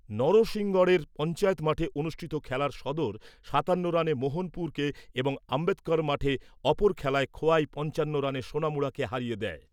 নরসিংগড়ের পঞ্চায়েত মাঠে অনুষ্ঠিত খেলার সদর সাতান্ন রানে মোহনপুরকে এবং আম্বেদকর মাঠে অপর খেলায় খোয়াই পঞ্চান্ন রানে সোনামুড়াকে হারিয়ে দেয়।